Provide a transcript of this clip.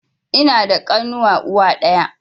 Ina da ƙanuwa uwa ɗaya